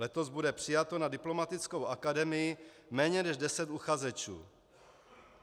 Letos bude přijato na diplomatickou akademii méně než deset uchazečů.